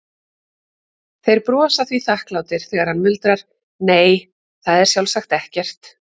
Þeir brosa því þakklátir þegar hann muldrar, nei, það er sjálfsagt ekkert.